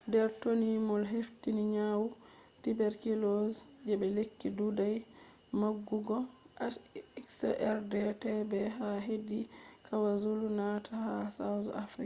dr. tony moll hefti nyawu tuberculosis je lekki ɗuɗai magugo xdr_tb ha hedi kwazulu-natal ha south africa